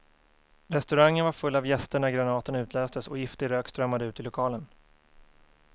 Restaurangen var full av gäster när granaten utlöstes och giftig rök strömmade ut i lokalen.